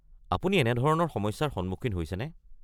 আপুনি এনেধৰনৰ সমস্যাৰ সন্মুখীন হৈছেনে?